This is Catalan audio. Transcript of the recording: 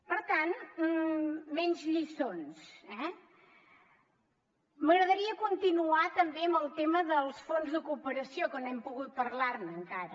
per tant menys lliçons eh m’agradaria continuar també amb el tema dels fons de cooperació que no hem pogut parlar ne encara